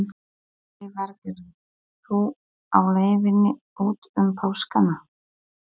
Lillý Valgerður: Þú á leiðinni út um páskana?